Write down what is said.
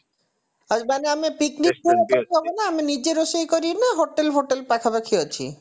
ମାନେ ଆମେ picnic ପାଇଁ କରିପାରିବୁ ନା ଆମେ ନିଜେ ରୋଷେଇ କରିବୁ ନା hotel ଫୋଟେଲ ପାଖାପାଖି ଅଛି